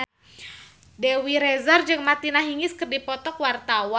Dewi Rezer jeung Martina Hingis keur dipoto ku wartawan